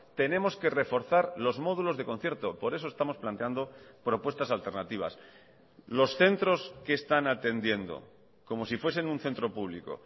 tenemos que reforzar los módulos de concierto por eso estamos planteando propuestas alternativas los centros que están atendiendo como si fuesen un centro público